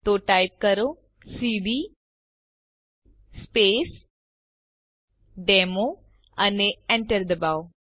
તો ટાઇપ કરો cd space demo અને Enter ડબાઓ